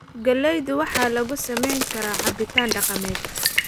Galaydu waxaa lagu sameyn karaa cabitaan dhaqameed.